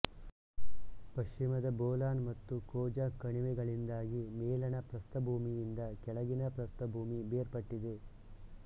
ಪಶ್ಚಿಮದ ಬೋಲಾನ್ ಮತ್ತು ಖೋಜಾಕ್ ಕಣಿವೆಗಳಿಂದಾಗಿ ಮೇಲಣ ಪ್ರಸ್ಥಭೂಮಿಯಿಂದ ಕೆಳಗಿನ ಪ್ರಸ್ಥಭೂಮಿ ಬೇರ್ಪಟ್ಟಿದೆ